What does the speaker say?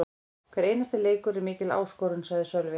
Hver einasti leikur er mikil áskorun, sagði Sölvi.